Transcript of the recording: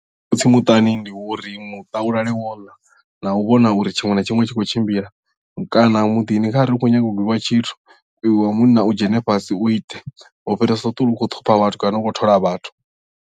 Khotsi muṱani ndi wa uri muṱa u lale wo ḽa na u vhona uri tshiṅwe na tshiṅwe tshi khou tshimbila kana muḓini kharali u khou nyanga u gwiwa tshithu iwe wa munna u dzhene fhasi u ite u fhirisa u ṱuwa u khou ṱhupha vhathu kana u thola vhathu.